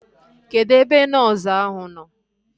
Kedụ ebe nọọsu ahu nọ?